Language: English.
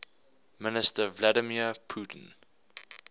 minister vladimir putin